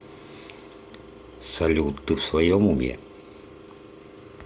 салют ты в своем уме